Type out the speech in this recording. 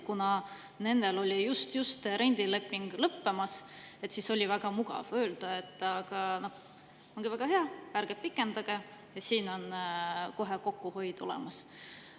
Kuna nendel oli just rendileping lõppemas, siis oli väga mugav öelda, et ongi väga hea, ärge pikendage, siin on kohe kokkuhoid olemas.